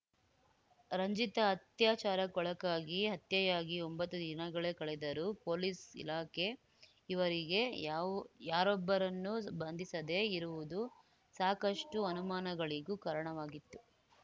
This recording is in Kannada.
ರಂಜಿತಾ ಅತ್ಯಾಚಾರಕ್ಕೊಳಗಾಗಿ ಹತ್ಯೆಯಾಗಿ ಒಂಬತ್ತು ದಿನಗಳೇ ಕಳೆದರೂ ಪೊಲೀಸ್‌ ಇಲಾಖೆ ಈವರೆಗೆ ಯಾವ್ ಯಾರೊಬ್ಬರನ್ನೂ ಬಂಧಿಸದೇ ಇರುವುದು ಸಾಕಷ್ಟುಅನುಮಾನಗಳಿಗೂ ಕಾರಣವಾಗಿತ್ತು